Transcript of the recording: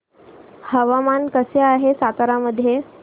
हवामान कसे आहे सातारा मध्ये